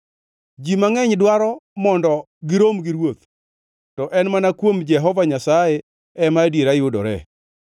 Ji mangʼeny dwaro mondo girom gi ruoth, to en mana kuom Jehova Nyasaye ema adiera yudoree.